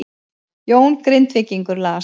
Jón Grindvíkingur las